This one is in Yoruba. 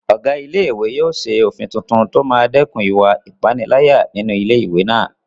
Ọ̀gá ilé-ìwé náà yóò ṣe òfin tuntun tó máa dẹ́kun ìwà ìpániláyà nínú ilé-ìwé náà